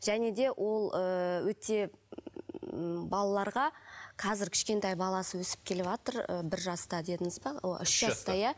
және де ол ыыы өте м балаларға қазір кішкентай баласы өсіп келіватыр ы бір жаста дедіңіз ба үш жаста иә